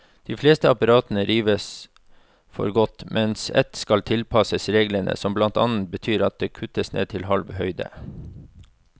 De fleste apparatene rives for godt, mens ett skal tilpasses reglene, som blant annet betyr at det kuttes ned til halv høyde.